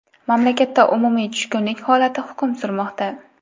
Mamlakatda umumiy tushkunlik holati hukm surmoqda.